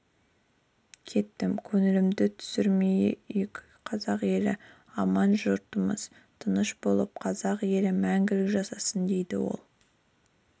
кеттім көңілімізді түсірмейік қазақ елі аман жұртымыз тыныш болып қазақ елі мәңгілік жасасын дейді ол